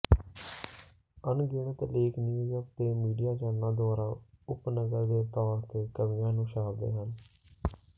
ਅਣਗਿਣਤ ਲੇਖ ਨਿਊਯਾਰਕ ਦੇ ਮੀਡੀਆ ਚੈਨਲਾਂ ਦੁਆਰਾ ਉਪਨਗਰ ਦੇ ਤੌਰ ਤੇ ਕਵੀਆਂ ਨੂੰ ਛਾਪਦੇ ਹਨ